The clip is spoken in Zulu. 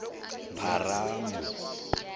pharanu